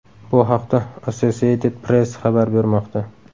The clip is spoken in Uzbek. Bu haqda Associated Press xabar bermoqda .